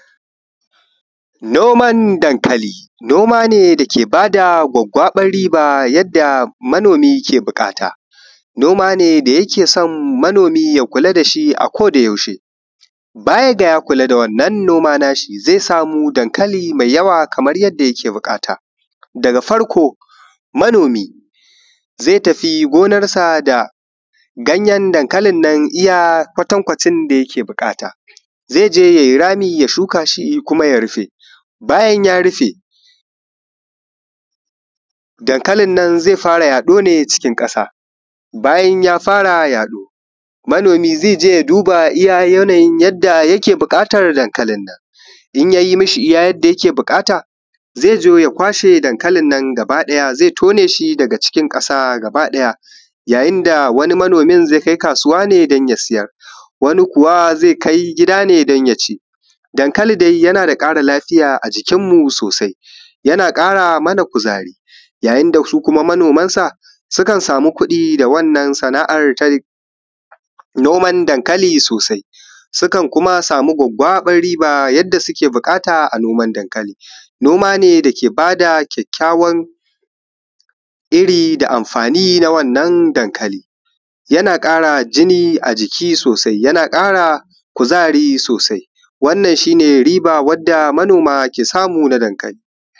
Noman dankali, noma ne dake ba da gwaggwabar riba yadda manoomi ke buƙata noma ne da yake son manoomi ya kula da shi a-ko-da-yaushe, baya da ya kula da wannan noma naa shi zai samu dankali da yawa kamar yadda yake buƙata. Daga farko manoomi zai tafi gonarsa da ganyen dankalin nan iya kwatankwacin da yake buƙata, zai je ya yi rami ya shukaa shi kuma ya rufe, bayan ya rufe dankalin nan zai fara yaɗo ne cikin ƙasa, bayan ya fara yaɗo manoomi zai je ya duba iya yanayin yadda yake buƙatar dankalin nan, in yayi ma shi iya yadda yake buƙata zai zo ya kwashe dankalin nan gaba ɗaya zai tone shi daga cikin ƙasa gaba ɗaya, yayin da wani manoomin zai kai kaasuwa ne don ya siyar, wani kuwa zai kai gida ne don ya ci, dankali dai yana da ƙara lafiya ajikin mu soosai yana ƙara mana kuzari, yayin da su kuma manoomansa sukan samu kuɗi da wannan sanaa’ar ta noman dankali soosai sukan kuma samu gwaggwaɓar riba yadda suke buƙata a noman dankali. Noma ne dake baa da kyakkyawar iri da amfaani na wannan dankali yana ƙara jini a jiki soosai, yana ƙara kuzari soosai wannan shi ne wadda manooma ke samu na dankali